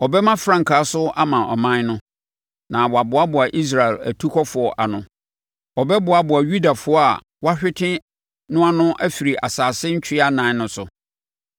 Ɔbɛma frankaa so ama aman no na wɔaboaboa Israel atukɔfoɔ ano; Ɔbɛboaboa Yudafoɔ a wɔahwete no ano afiri asase ntwea ɛnan no so.